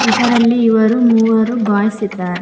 ಇದರಲ್ಲಿ ಇವರು ಮೂವರು ಬಾಯ್ಸ್ ಇದ್ದಾರೆ.